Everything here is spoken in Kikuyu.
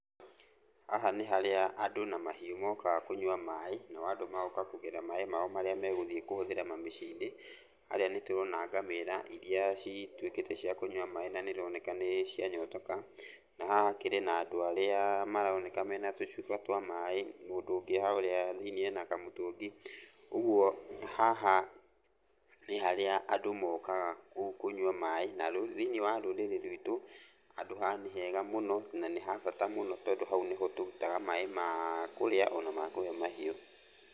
Haha nĩ harĩa andũ na mahiũ mokaga kũnyua maĩ, nao andũ magoka kũgĩra maĩ mao marĩa megũthiĩ kũhũthĩra mĩciĩ-inĩ. Harĩa nĩtũrona ngamĩra iria cituĩkĩte cia kũnyua maĩ na nĩironeka nĩcianyotoka. Na haha hakĩrĩ na andũ angĩ arĩa maroneka mena tũcuba twa maĩ. Mũndũ ũngĩ harĩa thĩiniĩ ena kamũtũngi. Ũguo, haha nĩ harĩa andũ mokaga kũnyua maĩ. Na thĩiniĩ wa rũrĩrĩ rwitũ handũ haha nĩ hega mũno, na nĩ ha bata mũno tondũ hau nĩho tũrutaga maĩ ma kũrĩa ona ma kũhe mahiũ.